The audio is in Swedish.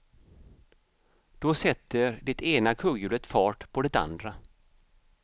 Då sätter det ena kugghjulet fart på det andra.